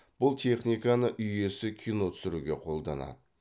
бұл техниканы үй иесі кино түсіруге қолданады